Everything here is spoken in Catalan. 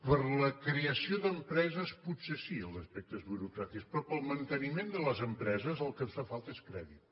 per a la creació d’empreses potser sí els aspectes burocràtics però per al manteniment de les empreses el que ens fa falta és crèdit